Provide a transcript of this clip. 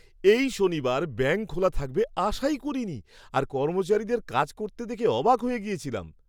এই শনিবার ব্যাঙ্ক খোলা থাকবে আশাই করিনি আর কর্মচারীদের কাজ করতে দেখে অবাক হয়ে গিয়েছিলাম!